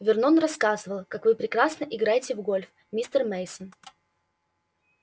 вернон рассказывал как вы прекрасно играете в гольф мистер мейсон